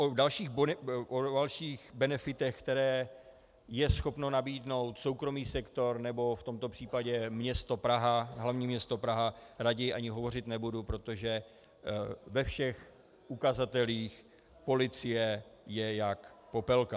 O dalších benefitech, které je schopen nabídnout soukromý sektor, nebo v tomto případě město Praha, hlavní město Praha, raději ani hovořit nebudu, protože ve všech ukazatelích policie je jak popelka.